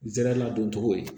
N zɛra dun cogo ye